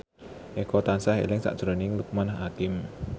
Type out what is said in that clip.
Eko tansah eling sakjroning Loekman Hakim